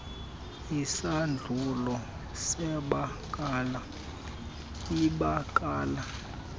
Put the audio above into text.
isahlulo sebakala ibakala